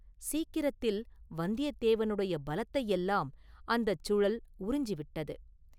சீக்கிரத்தில் வந்தியதேவனுடைய பலத்தையெல்லாம் அந்தச் சுழல் உறிஞ்சிவிட்டது.